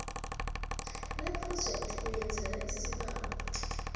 lephrojekhthi oyenzela isibawo